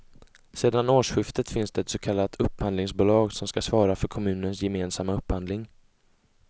Sedan årsskiftet finns det ett så kallat upphandlingsbolag som skall svara för kommunens gemensamma upphandling.